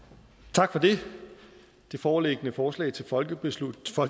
tak for det det foreliggende forslag til folketingsbeslutning